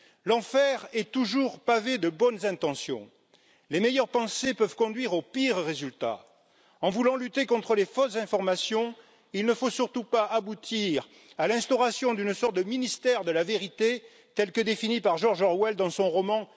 L'enfer est toujours pavé de bonnes intentions, les meilleures pensées peuvent conduire aux pires résultats. En voulant lutter contre les fausses informations, il ne faut surtout pas aboutir à l'instauration d'une sorte de ministère de la vérité tel que défini par George Orwell dans son roman